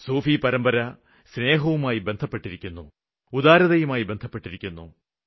സൂഫി പരമ്പര സ്നേഹവുമായി ബന്ധപ്പെട്ടിരിക്കുന്നു ഉദാരതയുമായി ബന്ധപ്പെട്ടിരിക്കുന്നു